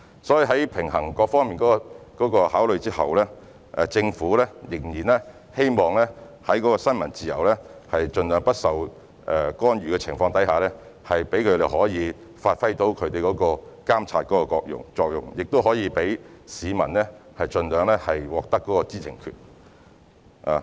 所以，在平衡各方面的考慮後，政府仍然希望在新聞自由盡量不受干預的情況下，讓記者可以發揮監察作用，亦可以讓市民盡量獲得知情權。